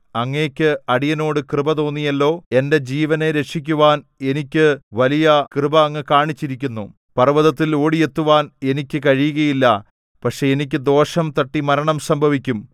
അങ്ങയ്ക്ക് അടിയനോടു കൃപ തോന്നിയല്ലോ എന്റെ ജീവനെ രക്ഷിക്കുവാൻ എനിക്ക് വലിയ കൃപ അങ്ങ് കാണിച്ചിരിക്കുന്നു പർവ്വതത്തിൽ ഓടി എത്തുവാൻ എനിക്ക് കഴിയുകയില്ല പക്ഷേ എനിക്ക് ദോഷം തട്ടി മരണം സംഭവിക്കും